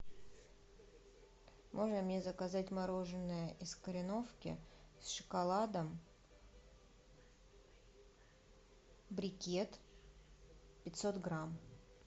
можно мне заказать мороженое из кореновки с шоколадом брикет пятьсот грамм